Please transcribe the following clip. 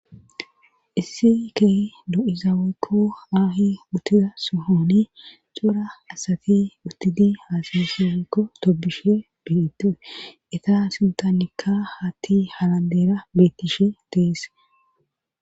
Issi key do7izaweykko aahi uttida suhooni xora asati utidi haasayesiweykko tobushe biitee ita sintanikka hatti halandeera bettishe teese